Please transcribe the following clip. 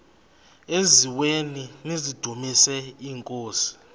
eziaweni nizidumis iinkosi